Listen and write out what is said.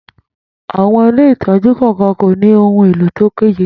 Àwọn ilé ìtọ́jú kọ̀ọ̀kan kò ní ohun elo tó péye.